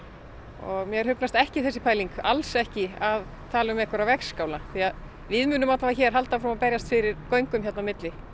og mér hugnast ekki þessi pæling alls ekki að tala um einhverja vegskála því að við munum alla vega hér halda áfram að berjast fyrir göngum hérna á milli